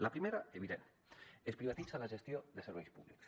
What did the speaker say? la primera evident es privatitza la gestió de serveis públics